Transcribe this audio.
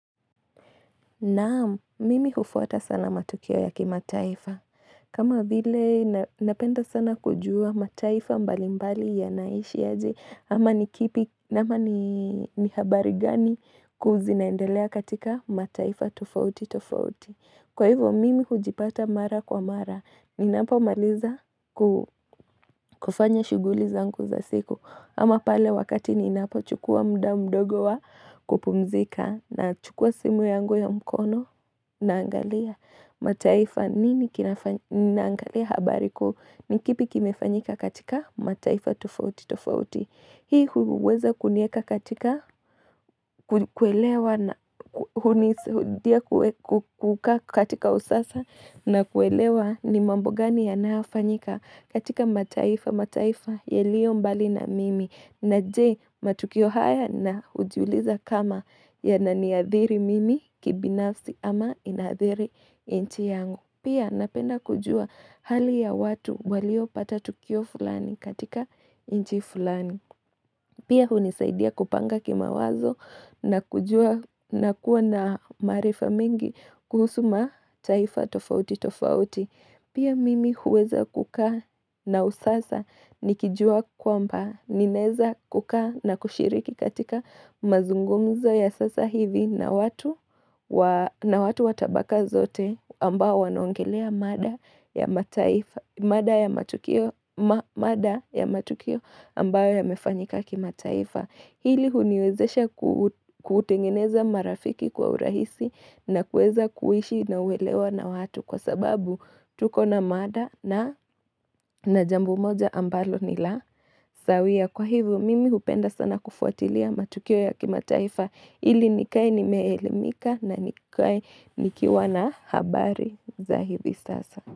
Naamu, mimi hufwata sana matukio ya kimataifa. Kama vile napenda sana kujua mataifa mbalimbali ya naishi aje. Ama ni kipi, ama ni habari gani kuu zinaendelea katika mataifa tofauti tofauti. Kwa hivo mimi hujipata mara kwa mara, ninapo maliza ku kufanya shuguli zangu za siku ama pale wakati ninapo chukua muda mdogo wa kupumzika nachukua simu yangu ya mkono Naangalia mataifa nini kinafa naangalia habari kuu, ni kipi kimefanyika katika mataifa tofauti tofauti hii huweza kuniweka katika. Katika usasa na kuelewa ni mambo gani ya nafanyika katika mataifa mataifa yaliyo mbali na mimi na je matukio haya na hujiuliza kama yana niadhiri mimi kibinafsi ama inadhiri nchi yangu. Pia napenda kujua hali ya watu waliopata tukio fulani katika nchi fulani. Pia hunisaidia kupanga kimawazo na kujua na kuwa na maarifa mengi kuhusu mataifa tofauti tofauti. Pia mimi huweza kukaa na usasa nikijua kwamba ninaeza kukaa na kushiriki katika mazungumza ya sasa hivi na watu wa. Na watu watabaka zote ambao wanaongelea mada ya mataifa, mada ya matukio ambayo yamefanyika kimataifa. Hili huniwezesha kutengeneza marafiki kwa urahisi na kuweza kuishi na uelewa na watu kwa sababu tuko na mada na na jambo moja ambalo nila. Sawia kwa hivyo mimi hupenda sana kufuatilia matukio ya kimataifa hili nikae nimeelimika na nikae nikiwa na habari za hivi sasa.